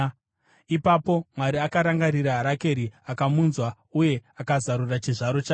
Ipapo Mwari akarangarira Rakeri; akamunzwa uye akazarura chizvaro chake.